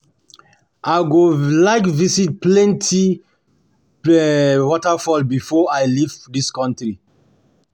I go like visit plenty like visit plenty waterfalls before I leave this country